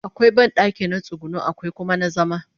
akwai banɗaki na tsuguno akwai Kuma na zama